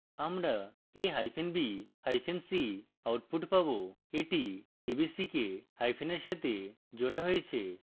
আমরা a hyphen b hyphen c output পাবো এটি a b c কে hyphen we সাথে জোড়া হয়েছে